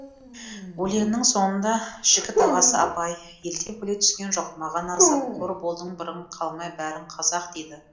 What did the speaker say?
өлеңнің соңында жігіт ағасы абай елден бөлек түскен жоқ маған азап қор болдың бірің қалмай бәрің қазақ дейді